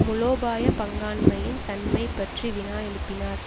மூலோபாய பங்காண்மையின் தன்மை பற்றி வினா எழுப்பினார்